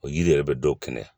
O yiri yɛrɛ bɛ dɔw kɛnɛ